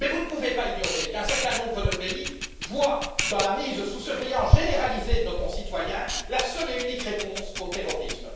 Mais vous ne pouvez pas ignorer qu'un certain nombre de pays voient dans la mise sous surveillance généralisée de nos concitoyens la seule et unique réponse au terrorisme.